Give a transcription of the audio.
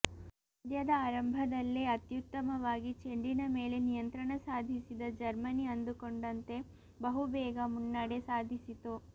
ಪಂದ್ಯದ ಆರಂಭದಲ್ಲೇ ಅತ್ಯುತ್ತಮವಾಗಿ ಚೆಂಡಿನ ಮೇಲೆ ನಿಯಂತ್ರಣ ಸಾಧಿಸಿದ ಜರ್ಮನಿ ಅಂದುಕೊಂಡಂತೆ ಬಹುಬೇಗ ಮುನ್ನಡೆ ಸಾಧಿಸಿತು